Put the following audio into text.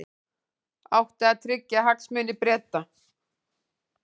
Átti að tryggja hagsmuni Breta